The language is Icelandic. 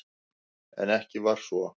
En ekki var svo.